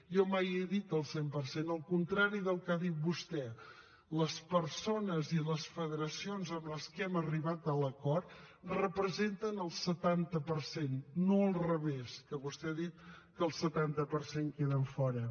jo mai he dit el cent per cent el contrari del que ha dit vostè les persones i les federacions amb les que hem arribat a l’acord representen el setanta per cent no al revés que vostè ha dit que el setanta per cent en queden fora